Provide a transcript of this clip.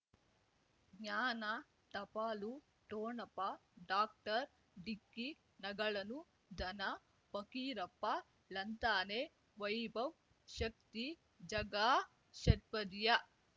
ಜ್ಞಾನ ಟಪಾಲು ಠೊಣಪ ಡಾಕ್ಟರ್ ಢಿಕ್ಕಿ ಣಗಳನು ಧನ ಫಕೀರಪ್ಪ ಳಂತಾನೆ ವೈಭವ್ ಶಕ್ತಿ ಝಗಾ ಷಟ್ಪದಿಯ